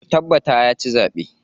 Ku tabbata ya ci zaɓe.